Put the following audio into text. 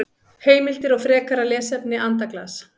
Heimildir og frekara lesefni Andaglas.